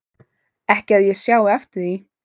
Ekki að ég sjái eftir því